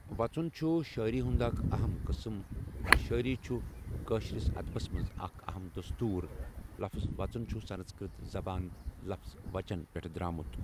وَژن چھُ شٲعِری كہَ اَكھ اہم قٕسٕم یہِ شٲعِری چھُ کٲشُر اَدَبس منٛز اَكھ اہم دستوٗر لفظ وَژن چھُ سَنٛسکرِت زَبان لفظ وَچَن پؠٹھہٕ درٛامُت۔